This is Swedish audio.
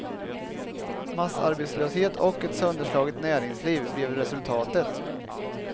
Massarbetslöshet och ett sönderslaget näringsliv blev resultatet.